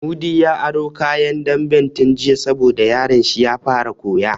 Mudi ya aro kayan damben tun jiya sabo da yaron sa ya fara koya